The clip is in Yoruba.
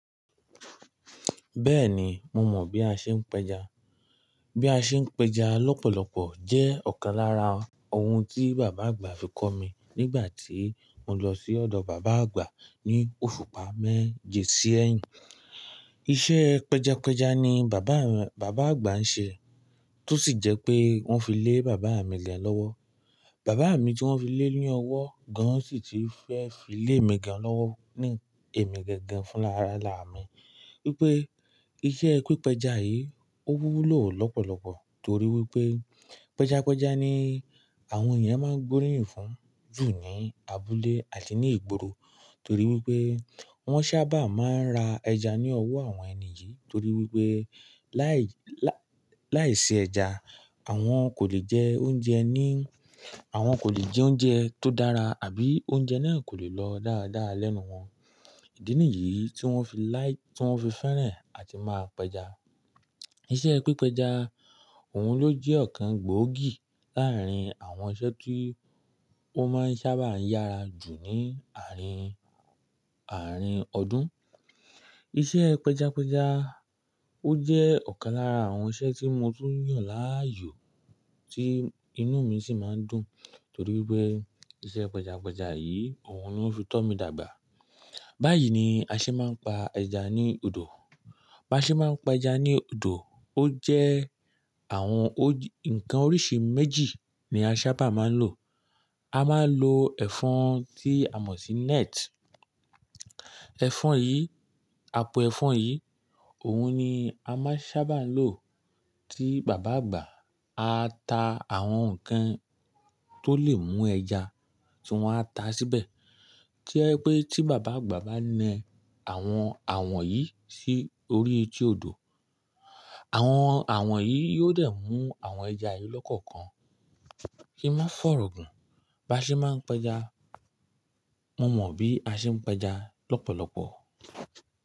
Bẹ́ẹ̀ni, mo mọ̀ bí a ṣe ń pẹja. Bí a ṣe ń pẹja lọ́pọ̀lọpọ̀ jẹ́ ọ̀kan lára ohun tí bàbá àgbà fi kọ́ mi nígbà tí mo lọ sí ọ̀dọ̀ bàbá àgbà ní òṣùpá mẹ́jì sí ẹ̀yìn. Iṣẹ́ pẹjapẹja ni bàbá, bàbá àgbà ń ṣe tó sì jẹ́ pé wọ́n fi lé bàbá mi gan lọ́wọ́. Bàbá mi tí wọ́n fi lé ní ọwọ́ gan-an sì ti fẹ́ fi lé mi gan-an lọ́wọ́ ní èmi gangan fún lára-lára mi. Wípé iṣẹ́ pípẹja yìí ó wúló lọ́pọ̀lọpọ̀ torí wípé pẹjapẹja ni àwọn èèyàn máa ń gbóríyìn fún ju ní abúlé àti ní ìgboro. Torí wípé wọ́n sábà máa ń ra ẹja ní ọwọ́ àwọn ẹni yìí, torí wípé láì, láìsí ẹja àwọn kò lè jẹ oúnjẹ ní, àwọn kò lè jẹ oúnjẹ tó dára àbí oúnjẹ náà kò lè lọ dáadáa lẹ́nu wọn. Ìdí nìyí tí wọ́n fi láì, tí wọ́n fi fẹ́rẹ̀ àti máa pẹja. Iṣẹ́ pípẹja òun ló jẹ́ ọ̀kan gbòógì láàrín àwọn iṣẹ́ tí ó máa ń sábà yára jù ní àárín, àárín ọdún. Iṣẹ́ pẹjapẹja ó jẹ́ ọ̀kan lára àwọn iṣẹ́ tí mo tún yàn láàyò tí inú mi sì máa ń dùn torí wípé iṣẹ́ pẹjapẹja yìí òun ló ń ti tọ́ mi dàgbà. Báyìí ni a ṣe máa ń pa ẹja ní odò. Bí a ṣe máa ń pẹja ní odò ó jẹ́ àwọn o-- nǹkan oríṣi méjì ni a sábà máa ń lò. A máa ń lo ẹ̀fọ́n tí a mọ̀ sí net. Ẹ̀fọ́n yìí, apo ẹ̀fọ́n yìí òun ni a máa sábà ń lò tí bàbá àgbà a ta àwọn nǹkan tó lè mú ẹja tí wọ́n á ta síbẹ̀. Tí ẹ pé tí bàbá àgbà bá nẹ àwọn awọ̀n yìí sí orí etí odò, àwọn awọ̀n yìí yóò dẹ̀ mú àwọn ẹja yìí lọ́kọ̀kan kí n má fọ̀rọ̀ gùn. Bí a ṣe máa ń pẹja, mo mọ̀ bí a ṣe ń pẹja lọ́pọ̀lọpọ̀